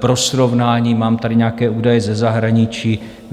Pro srovnání, mám tady nějaké údaje ze zahraničí.